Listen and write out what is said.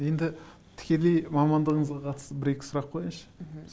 енді тікелей мамандығынызға қатысты бір екі сұрақ қояйыншы мхм